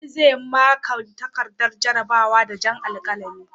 Ali zai maƙa takardar jarrabawa da jan alkalami.